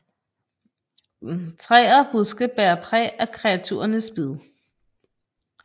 Træer og buske bærer præg af kreaturernes bid